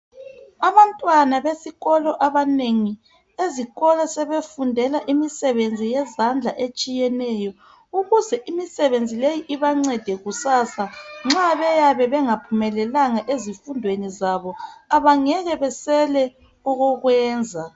Abantwana besikolo abanengi ezikolo sebefundela imisebenzi yezandla etshiyeneyo ukuze imisebenzi leyi ibancede kusasa nxa beyabe bengaphumelelanga ezifundweni zabo abangeke beswele okokwenza.